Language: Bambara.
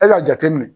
E k'a jate minɛ